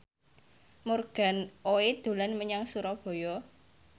Morgan Oey dolan menyang Surabaya